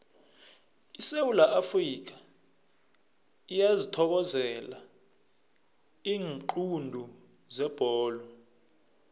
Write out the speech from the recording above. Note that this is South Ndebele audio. isewula afrikha iyazithokozela iinqundu zebholo